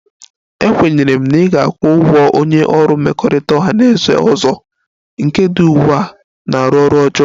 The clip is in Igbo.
Ekwenyere m na ị ga-akwụ ụgwọ onye ọrụ mmekọrịta ọha na eze ọzọ, nke dị ugbu a na-arụ ọrụ ọjọọ